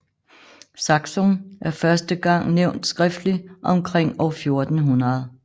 Saksun er første gang nævnt skriftlig omkring år 1400